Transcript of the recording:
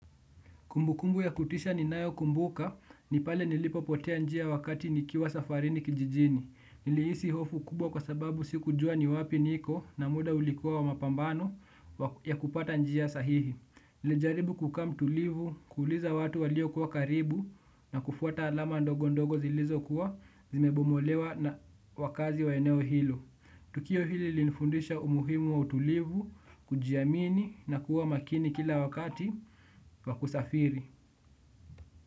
Kumbukumbu ya kutisha ni nayo kumbuka ni pale nilipopotea njia wakati nikiwa safarini kijijini. Nilihisi hofu kubwa kwa sababu si kujua ni wapi niko na muda ulikuwa wa mapambano ya kupata njia sahihi. Nili jaribu kukaa mtulivu, kuuliza watu walio kuwa karibu na kufuata alama ndogo ndogo zilizo kuwa zimebomolewa na wakazi wa eneo hilo. Tukio hili linifundisha umuhimu wa utulivu kujiamini na kuwa makini kila wakati wa kusafiri.